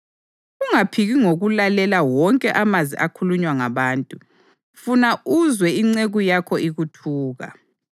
Ungaphiki ngokulalela wonke amazwi akhulunywa ngabantu, funa uzwe inceku yakho ikuthuka